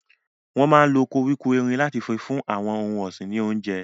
Wọn máa ń lo koríko erin láti fún àwọn ohun ọ̀sìn ní oúnjẹ.